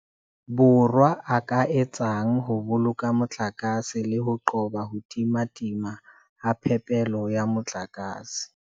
Borwa a ka di etsang ho boloka motlakase le ho qoba ho timatima ha phepelo ya motlakase.